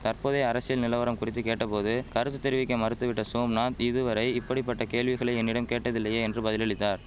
தற்போதைய அரசியல் நிலவரம் குறித்து கேட்ட போது கருத்து தெரிவிக்க மறுத்துவிட்ட சோம்நாத் இதுவரை இப்படிபட்ட கேள்விகளை என்னிடம் கேட்டதில்லையே என்று பதிலளித்தார்